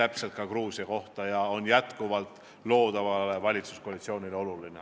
See käib ka Gruusia kohta ja on loodavale valitsuskoalitsioonile oluline.